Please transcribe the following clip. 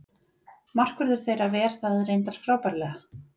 Markvörður þeirra ver það reyndar frábærlega.